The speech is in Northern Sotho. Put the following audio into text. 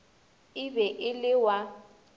e be e le wa